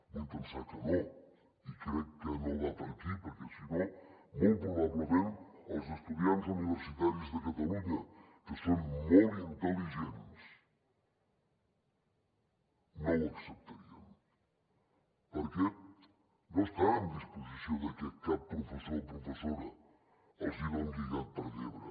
vull pensar que no i crec que no va per aquí perquè si no molt probablement els estudiants universitaris de catalunya que són molt intel·ligents no ho acceptarien perquè no estan en disposició de que cap professor o professora els hi doni gat per llebre